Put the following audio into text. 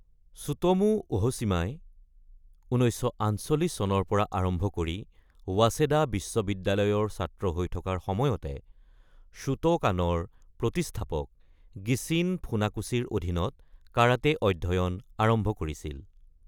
Tsutomu Ohshima ১৯৪৮ চনৰ পৰা আৰম্ভ কৰি ৱাচেডা বিশ্ববিদ্যালয়ৰ ছাত্ৰ হৈ থকাৰ সময়তে শ্বোটোকানৰ প্ৰতিষ্ঠাপক গিচিন ফুনাকোছিৰ অধীনত কাৰাটে অধ্যয়ন আৰম্ভ কৰিছিল ।